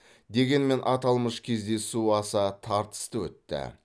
дегенмен аталмыш кездесу аса тартысты өтті